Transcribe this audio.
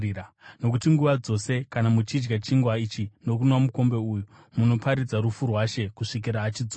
Nokuti nguva dzose kana muchidya chingwa ichi nokunwa mukombe uyu, munoparidza rufu rwaShe kusvikira achidzoka.